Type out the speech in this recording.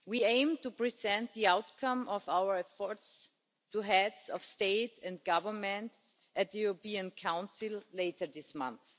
We aim to present the outcome of our efforts to Heads of State and Government at the European Council later this month.